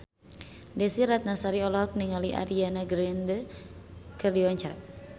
Desy Ratnasari olohok ningali Ariana Grande keur diwawancara